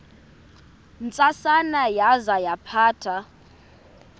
ntsasana yaza yaphatha